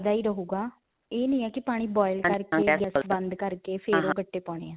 ਬਲਦਾ ਹੈ ਰਹੂਗਾ ਇਹ ਨਹੀਂ ਹੈ ਕਿ ਪਾਣੀ boil ਕਰਕੇ, ਗੈਸ ਬੰਦ ਕਰਕੇ ਫਿਰ ਉਹ ਗੱਟੇ ਪਾਉਣੇ ਹੈ.